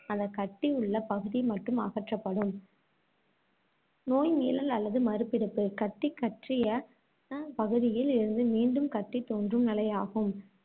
அந்தக் கட்டியுள்ள பகுதி மட்டும் அகற்றப்படும் நோய் மீளல் அல்லது மறுபிடிப்பு கட்டிகற்றிய அஹ் பகுதியில் இருந்து மீண்டும் கட்டி தோன்றும் நிலையாகும்.